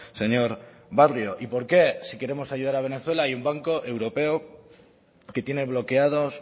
señor barrio y por qué si queremos ayudar a venezuela y el banco europeo que tiene bloqueados